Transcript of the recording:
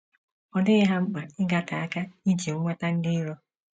Ọ dịghị ha mkpa ịgate aka iji nweta ndị iro.